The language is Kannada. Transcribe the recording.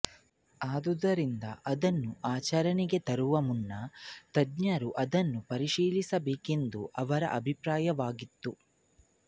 ಆದ್ದರಿಂದ ಅದನ್ನು ಆಚರಣೆಗೆ ತರುವ ಮುನ್ನ ತಜ್ಞರು ಅದನ್ನು ಪರಿಶೀಲಿಸಬೇಕೆಂದು ಅವರ ಅಭಿಪ್ರಾಯವಾಗಿತ್ತು